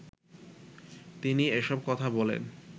তিনি এসব কথা বলেন